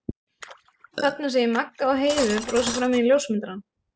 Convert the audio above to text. Þarna sé ég Magga og Heiðu brosa framan í ljósmyndarann.